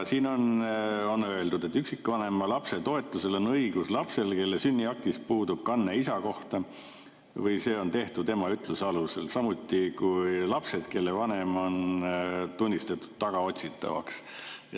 Siin on öeldud, et üksikvanema lapse toetusele on õigus lapsel, kelle sünniaktis puudub kanne isa kohta või see on tehtud ema ütluse alusel, samuti lapsel, kelle vanem on tunnistatud tagaotsitavaks.